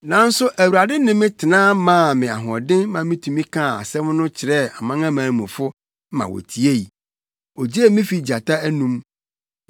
Nanso Awurade ne me tena maa me ahoɔden ma mitumi kaa asɛm no kyerɛɛ amanamanmufo ma wotiei. Ogyee me fii gyata anom.